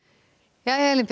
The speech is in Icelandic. jæja Elín Björt